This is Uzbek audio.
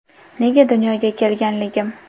Nega dunyoga kelganligim.